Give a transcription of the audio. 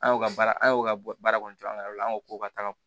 An y'o ka baara an y'o ka baara kɔni jɔ an ka yɔrɔ la an ko k'o ka taga